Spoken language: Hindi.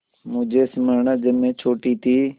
मुझे स्मरण है जब मैं छोटी थी